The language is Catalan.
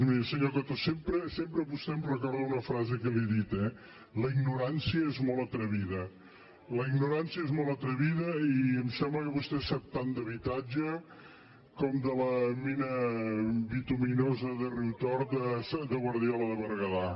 miri senyor coto sempre vostè em recorda una frase que li he dit eh la ignorància és molt atrevida la ignorància és molt atrevida i em sembla que vostè sap tant d’habitatge com de la mina bituminosa de riutort de guardiola de berguedà